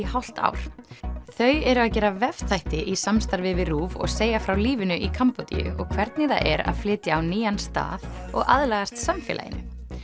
hálft ár þau eru að gera í samstarfi við RÚV og segja frá lífinu í Kambódíu og hvernig það er að flytja á nýjan stað og aðlagast samfélaginu